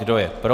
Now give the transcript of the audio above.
Kdo je pro?